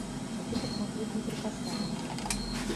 хочу посмотреть неприкасаемые